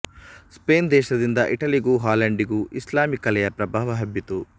Spain ದೇಶದಿಂದ ಇಟಲಿಗೂ ಹಾಲೆಂಡಿಗೂ ಇಸ್ಲಾಮೀ ಕಲೆಯ ಪ್ರಭಾವ ಹಬ್ಬಿತು